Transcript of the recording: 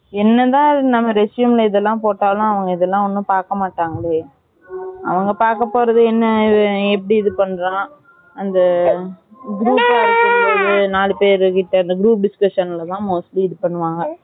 என்னதான் நம்ம resume ல இதுலம் போட்டாலும் மே அவங்க இதுலம் ஒன்னும் பாக்க மாட்டங்களே அவங்க பாக்க போறது என்ன இவன் எப்படி இது பண்றான் அந்த group பா இருக்கும் போது அந்த நாலு பேரு அந்த group discussion ல தான் mostly இது பண்ணுவாங்க